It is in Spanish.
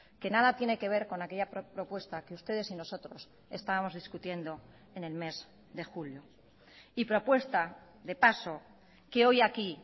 que nada tiene que ver con aquella propuesta que ustedes y nosotros estábamos discutiendo en el mes de julio y propuesta de paso que hoy aquí